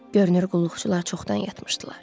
Görünür qulluqçular çoxdan yatmışdılar.